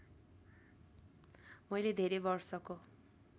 मैले धेरै वर्षको